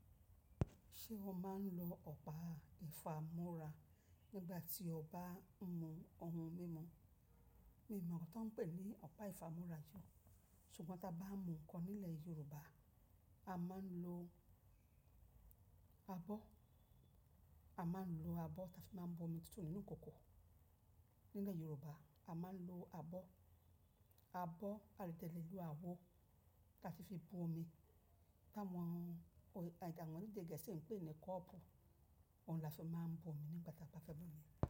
Ṣé wọ́n máa ń lo ọ̀pá ìfámúra nígbà tí o ba ń mu ohun mímu? Mi o mọ̀ oun ti won ń pè ní ọ̀pá ìfámúra jù, ṣùgbọ́n tí a bá mu ǹkan nílẹ̀ Yorùbá, a máa ń lo abọ́. A máa ń lo abọ́, táa fi máa bu omi sinù nínú ikòkò. Nílẹ̀ Yorùbá, a máa ń lo abọ́. Abọ́, a de le lo àwo, táa fi fi bu omi. Táwọn òní, àwọn òní gẹ̀ẹ́sì ń pè ní cup, òun lọ́ ṣe máa ń bu omi nígbà tí a bá fẹ́ mu omi.